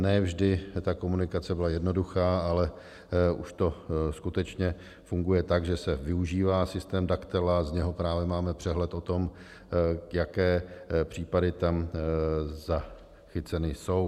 Ne vždy ta komunikace byla jednoduchá, ale už to skutečně funguje tak, že se využívá systém Daktela, z něhož právě máme přehled o tom, jaké případy tam zachyceny jsou.